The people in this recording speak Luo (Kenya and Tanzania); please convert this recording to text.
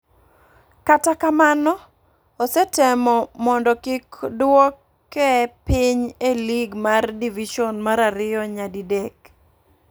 katakamano ,osetemo modo kik dwoke piny e lig mar division mar ariyo nya di dek